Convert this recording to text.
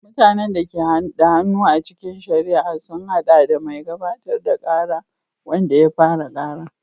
Mutanen da ke da hannu a cikin shari'a sun haɗa da mai gabatar da kara, wanda ya fara kara.